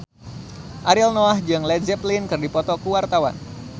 Ariel Noah jeung Led Zeppelin keur dipoto ku wartawan